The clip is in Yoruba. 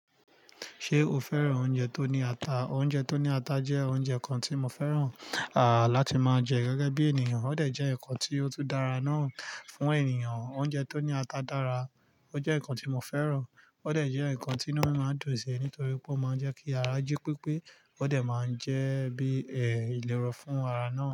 Ṣé o fẹ́ràn oúnjẹ tó ní ata? Oúnjẹ tó ní ata jẹ́ oúnjẹ kan tí mo fẹ́ràn, à láti máa jẹ gẹ́gẹ́ bí ènìyàn. Ó dẹ̀ jẹ́ ǹkan tí ó tún dára náà fún ènìyàn. Oúnjẹ tó ní ata dára, ó jẹ́ ǹkan tí mo fẹ́ràn. Ó dẹ̀ jẹ́ ǹkan tí inú mí máa ń dùn sí nítorí pé ó máa ń jẹ́ kí ara jí pípé. Ó dẹ̀ máa ń jẹ́ bí ẹ̀ ìlérò fún ara náà.